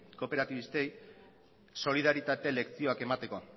kooperatibistei solidaritate lezioak emateko